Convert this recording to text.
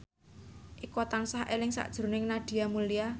Eko tansah eling sakjroning Nadia Mulya